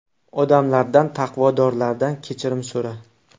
Odamlardan, taqvodorlardan kechirim so‘ra.